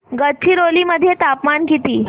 गडचिरोली मध्ये तापमान किती